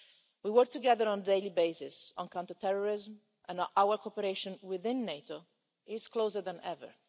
We work together on a daily basis on counterterrorism and our cooperation within NATO is closer than ever.